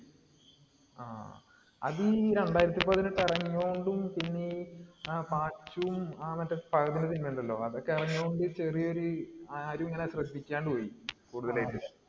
അതീ രണ്ടായിരത്തി പതിനെട്ട് ഇറങ്ങിയോണ്ടും, പിന്നെ ഈ പാച്ചുവും, മറ്റേ ഫഹദിന്റെ സിനിമയുണ്ടല്ലോ. അതൊക്കെ ഇറങ്ങിയോണ്ട് ചെറിയ രീ ആരുമങ്ങനെ ശ്രദ്ധിക്കാണ്ട് പോയി കൂടുതലായിട്ട്.